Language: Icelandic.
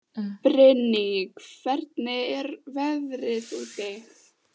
Brynný, hvernig er veðrið úti?